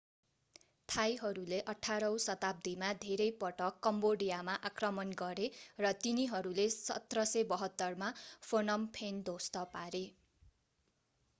थाईहरूले 18 औं शताब्दीमा धेरै पटक कम्बोडियामा आक्रमण गरे र तिनीहरूले 1772 मा phnom phen ध्वस्त पारे